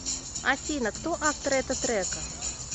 афина кто автор это трека